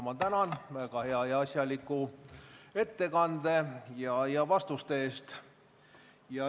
Ma tänan väga hea ja asjaliku ettekande ja vastuste eest.